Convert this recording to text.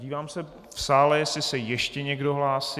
Dívám se v sále, jestli se ještě někdo hlásí.